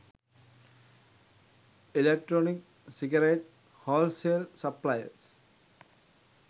electronic cigarette wholesale suppliers